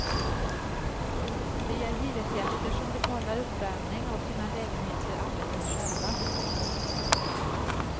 De är hyresgäster som betalar uppvärming av sina lägenheter alldeles själva.